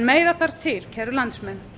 meira þarf til kæru landsmenn